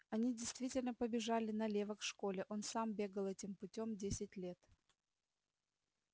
они действительно побежали налево к школе он сам бегал этим путём десять лет